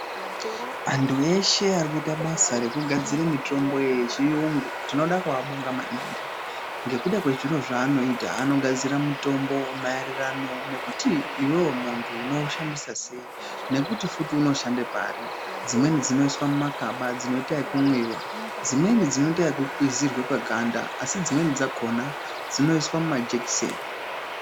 Antu eshe ari kuita basa rekugadzira mitombo yechiyungu tinoda kuabonga maningi ngekuda kwezviro zvaanoita. Anogadzira mutombo mayererano ngekuda kwekuti iwewe muntu unowushandisa sei nekuto futi unoshande pari. Dzimweni dzinoiswa mumakaba dzinoita yekumwiwa, dzimweni dzinoita ngekukwizirwa paganda asi dzimweni dzakona dzinoita kuiswa majekiseni.